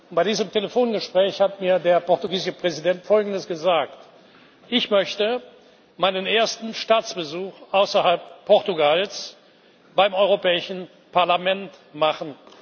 Bei diesem Telefongespräch hat mir der portugiesische Präsident Folgendes gesagt Ich möchte meinen ersten Staatsbesuch außerhalb Portugals beim Europäischen Parlament machen.